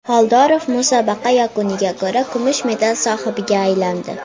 Xoldorov musobaqa yakuniga ko‘ra, kumush medal sohibiga aylandi.